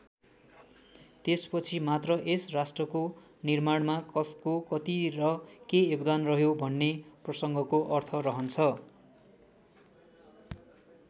त्यसपछि मात्र यस राष्ट्रको निर्माणमा कसको कति र के योगदान रह्यो भन्ने प्रसङ्गको अर्थ रहन्छ।